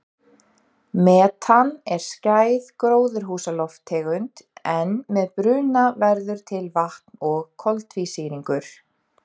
Metan er skæð gróðurhúsalofttegund en með bruna verður til vatn og koltvísýringur.